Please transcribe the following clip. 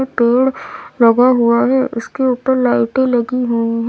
पेड़ लगा हुआ है उसके ऊपर लाइटें लगी हुई है।